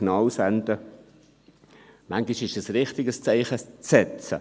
Manchmal ist es richtig, ein Zeichen zu setzen.